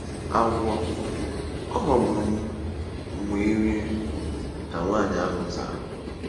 “Agwọ—ọ ghọgburu m wee rie,” ka nwanyị ahụ zara.